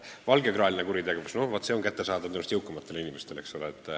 Valgekraeline kuritegevus – vaat see on kättesaadav just jõukamatele inimestele.